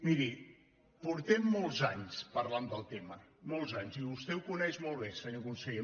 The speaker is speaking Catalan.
miri portem molts anys parlant del tema molts anys i vostè ho coneix molt bé senyor conseller